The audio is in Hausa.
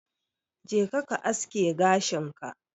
Jeka ka aske gashin ka.